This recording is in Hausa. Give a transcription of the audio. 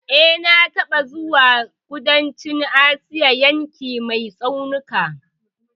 E, na taɓa zuwa kudancin Asia, yankin ne mai tsaunuka